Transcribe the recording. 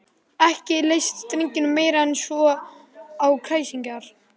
Ekki leist drengjunum meira en svo á kræsingarnar.